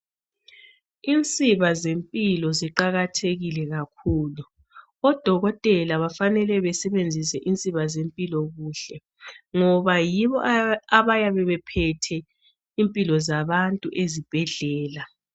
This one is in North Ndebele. Insiba zempilo ziqakathekile kakhulu. Odokotela bafenele basebenzise insiba zempilo kuhle ngoba yibo abayabe bephethe impilo zabantu ezibhedlela.